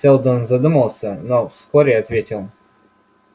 сэлдон задумался но вскоре ответил